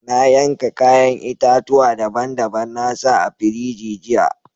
Na yanka yayan itatuwa daban-daban na sa a firiji jiya.